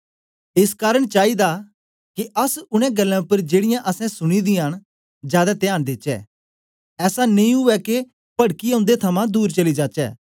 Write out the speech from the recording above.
एस कारन चाईदा के अस उनै गल्लें उपर जेड़ीयां असैं सुनी दियां न जादै त्यान देचै ऐसा नेई उवै के पडकीयै उन्दे थमां दूर चली जाचै